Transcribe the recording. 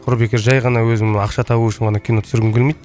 құр бекер жай ғана өзім ақша табу үшін ғана кино түсіргім келмейді